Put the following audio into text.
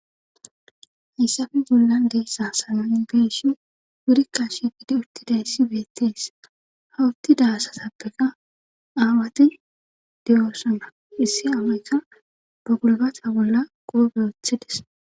Hayssafe bollan deessa sanay geeshi gurikka shigidi uttidayssi beettees hawuttida asatappeka aawati de7oosana issi aawayka ba gulbatha bolla qoobe othides.